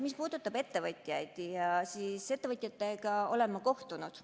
Mis puudutab ettevõtjaid, siis ettevõtjatega olen ma kohtunud.